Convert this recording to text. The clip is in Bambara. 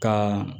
Ka